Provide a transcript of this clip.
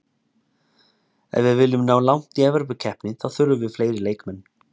Ef við viljum ná langt í Evrópukeppni þá þurfum við fleiri leikmenn.